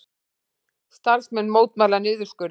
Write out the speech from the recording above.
Starfsmenn mótmæla niðurskurði